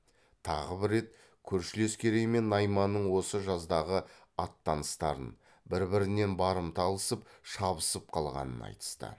тағы бір рет көршілес керей мен найманның осы жаздағы аттаныстарын бір бірінен барымта алысып шабысып қалғанын айтысты